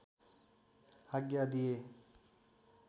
आज्ञा दिए